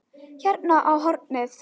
Hérna á hornið.